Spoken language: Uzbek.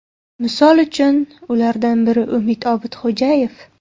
Misol uchun, ulardan biri Umid Obidxo‘jayev.